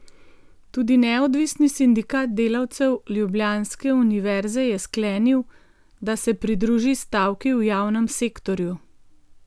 Tudi Neodvisni sindikat delavcev Ljubljanske univerze je sklenil, da se pridruži stavki v javnem sektorju.